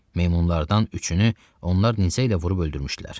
Meymunlardan üçünü onlar nizə ilə vurub öldürmüşdülər.